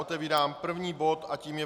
Otevírám první bod a tím je